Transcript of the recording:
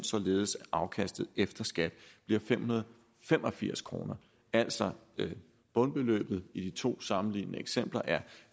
således at afkastet efter skat bliver fem hundrede og fem og firs kroner altså bundbeløbet i de to sammenlignede eksempler er